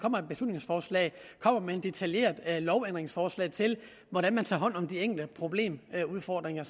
beslutningsforslag kommer med et detaljeret lovændringsforslag til hvordan man tager hånd om de enkelte udfordringer